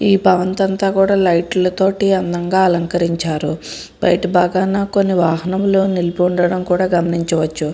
ఈ భవంతంతా కుడా లైట్లతో అందంగా అలంకరించారు బయట బాగాన కొన్ని వాహనములు నిలిపి ఉండడం కుడా గమనించవచ్చు.